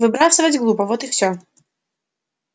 выбрасывать глупо вот и все